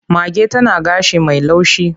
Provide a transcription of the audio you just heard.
Mage tana gashi mai laushi.